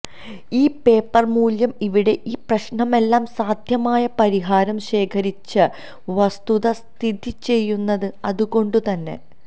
ഈ പേപ്പർ മൂല്യം ഇവിടെ ഈ പ്രശ്നം എല്ലാ സാധ്യമായ പരിഹാരം ശേഖരിച്ച വസ്തുത സ്ഥിതിചെയ്യുന്നത് അതുകൊണ്ടു തന്നെ